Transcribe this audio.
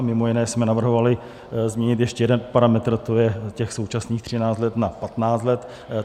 A mimo jiné jsme navrhovali změnit ještě jeden parametr, to je těch současných 13 let na 15 let.